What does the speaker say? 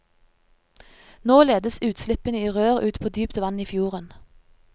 Nå ledes utslippene i rør ut på dypt vann i fjorden.